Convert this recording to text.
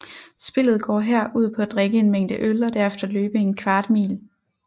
Spillet går her ud på at drikke en mængde øl og derefter løbe en kvart mil